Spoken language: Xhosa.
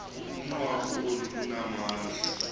unwabu olu lunamandla